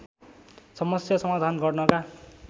समस्या समाधान गर्नका